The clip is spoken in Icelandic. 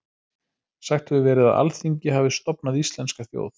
Sagt hefur verið að Alþingi hafi stofnað íslenska þjóð.